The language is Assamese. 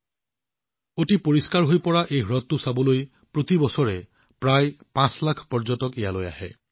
এতিয়া এই অতি পৰিষ্কাৰ হ্ৰদটো চাবলৈ প্ৰতি বছৰে প্ৰায় ৫ লাখ পৰ্যটক ইয়াত উপস্থিত হয়